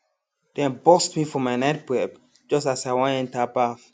dem burst me for my night prep just as i wan enter baff